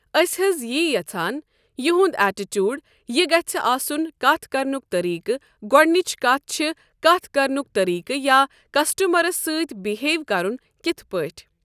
أسۍ حظ یی یَژھان یحنٛد اٮ۪ٹِچوٗڑ یہِ گژھِ آسن کتھ کرنک طٔریٖقہٕ گۄڈنِچ کَتھ چھِ کَتھ کَرنُک طٔریٖقہٕ یا کسٹمرس سۭتۍ بہیو کرن کِتھ پٲٹھۍ۔